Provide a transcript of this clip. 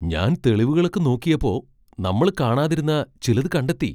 ഞാൻ തെളിവുകളൊക്കെ നോക്കിയപ്പോ നമ്മള് കാണാതിരുന്ന ചിലത് കണ്ടെത്തി.